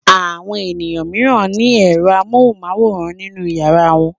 Àwọn ènìyàn mìíràn ní ẹ̀rọ amóhùmáwòhán nínú ìyàrá wọn.